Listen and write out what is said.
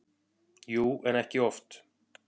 Jú, en ekki oft.